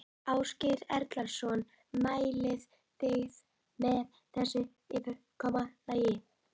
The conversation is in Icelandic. Ásgeir Erlendsson: Mælið þið með þessu fyrirkomulagi?